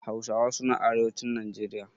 Hausawa suna arewacin Najeriya.